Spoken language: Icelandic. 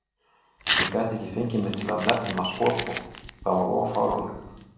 Ég gat ekki fengið mig til að nefna skotvopn, það var of fáránlegt.